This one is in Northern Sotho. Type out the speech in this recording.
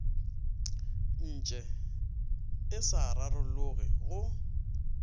ntše e sa rarologe go